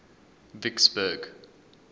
vicksburg